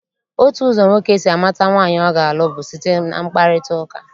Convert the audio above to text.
Otu ụzọ nwoke si amata nwaanyị ọ ga-alụ bụ site na mkparịtaụka.